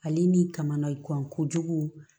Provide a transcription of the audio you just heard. Ale ni kamana gan kojugu